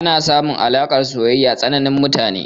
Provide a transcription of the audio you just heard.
Ana samun alaƙar soyayya tsanin mutane.